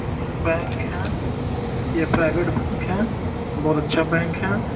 Indian bank है यह private bank है बहुत अच्छा बैंक है।